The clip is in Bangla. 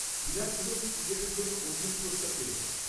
-বিরাট কোহলি ক্রিকেটের জন্য অর্জুন পুরস্কার পেয়েছেন।